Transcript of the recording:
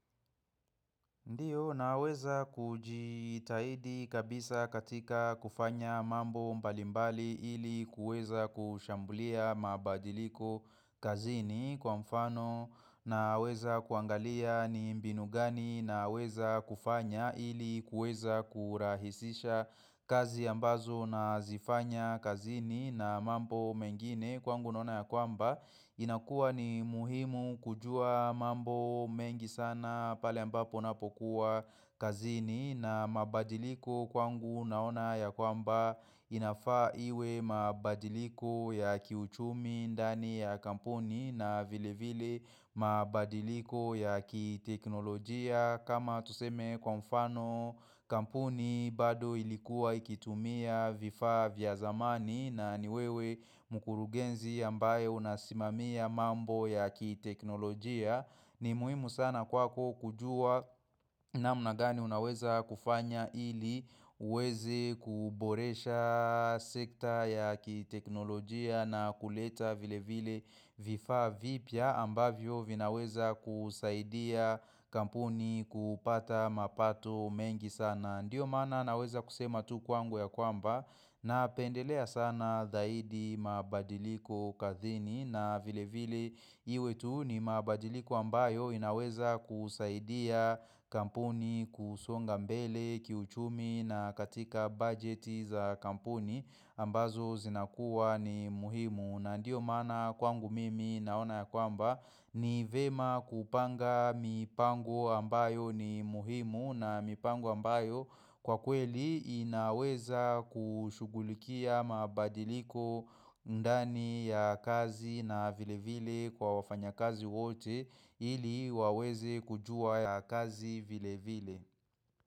Ndiyo naweza kujitahidi kabisa katika kufanya mambo mbalimbali ili kueza kushambulia mabadiliko kazini kwa mfano naweza kuangalia ni mbinu gani naweza kufanya ili kueza kurahisisha kazi ambazo na zifanya kazini na mambo mengine. Kwangu naona ya kwamba inakua ni muhimu kujua mambo mengi sana pale ambapo napokuwa kazini na mabadiliko kwangu naona ya kwamba inafaa iwe mabadiliko ya kiuchumi ndani ya kampuni na vile vile mabadiliko ya kiteknolojia kama tuseme kwa mfano kampuni bado ilikuwa ikitumia vifaa vya zamani na ni wewe mkurugenzi ambaye unasimamia mambo ya kiteknolojia. Ni muhimu sana kwako kujua namna gani unaweza kufanya ili uweze kuboresha sekta ya kiteknolojia na kuleta vile vile vifaa vipya ambavyo vinaweza kusaidia kampuni kupata mapato mengi sana. Na ndio maana naweza kusema tu kwangu ya kwamba na pendelea sana zaidi mabadiliko kazini na vile vile iwe tu ni mabadiliko ambayo inaweza kusaidia kampuni kusonga mbele kiuchumi na katika bajeti za kampuni ambazo zinakuwa ni muhimu. Na ndio maana kwangu mimi naona ya kwamba ni vema kupanga mipango ambayo ni muhimu na mipango ambayo kwa kweli inaweza kushugulikia mabadiliko ndani ya kazi na vilevile kwa wafanyakazi wote ili waweze kujua ya kazi vilevile.